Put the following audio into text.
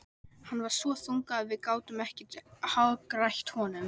Hann var svo þungur að við gátum ekkert hagrætt honum.